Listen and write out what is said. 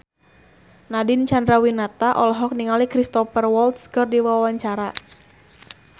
Nadine Chandrawinata olohok ningali Cristhoper Waltz keur diwawancara